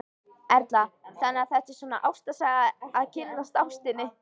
Erla: Þannig að þetta er svona ástarsaga, að kynnast ástinni?